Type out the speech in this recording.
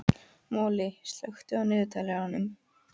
Moli, slökktu á niðurteljaranum.